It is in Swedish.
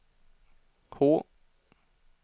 H